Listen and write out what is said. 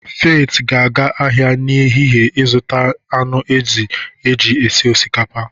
Faith ga-aga ahịa n'ehihie ịzụta anụ ezi eji esi osikapa.